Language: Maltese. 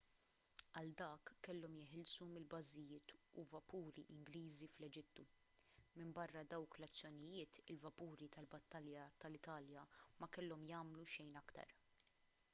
għal dak kellhom jeħilsu minn bażijiet u vapuri ingliżi fl-eġittu minbarra dawk l-azzjonijiet il-vapuri tal-battalja tal-italja ma kellhom jagħmlu xejn aktar